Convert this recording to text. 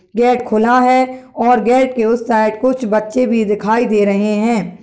Gate खुला है और गेट के उस साइड कुछ बच्चे भी दिखाई दे रहे हैं।